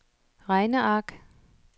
regneark